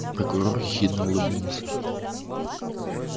прокурор ехидно улыбнулся